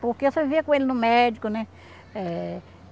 Porque eu só vivia com ele no médico, né? Eh